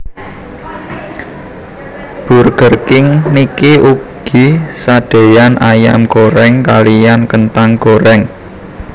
Burger King niki ugi sadeyan ayam goreng kaliyan kentang goreng